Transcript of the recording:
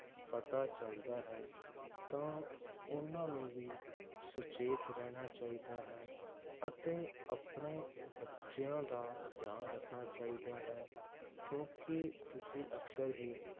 ਪਤਾ ਚਲਦਾ ਹੈ ਤਾਂ ਓਹਨਾ ਨੂੰ ਵੀ ਸੁਚੇਤ ਰਹਿਣਾ ਚਾਹੀਦਾ ਹੈ ਅਤੇ, ਆਪਣੇ ਬੱਚਿਆਂ ਦਾ ਧਿਆਨ ਰੱਖਣਾ ਚਾਹੀਦਾ ਹੈ ਕਿਉਂਕਿ ਤੁਸੀਂ ਅਕਸਰ ਹੀ